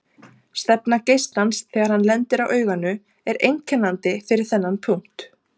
Stefna geislans þegar hann lendir á auganu er einkennandi fyrir þennan punkt.